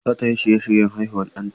Za ta yi shirye-shiryen haihuwar ɗanta.